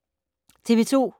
TV 2